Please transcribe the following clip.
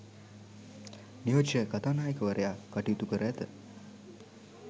නියෝජ්‍ය කතානායකවරයා කටයුතු කර ඇත.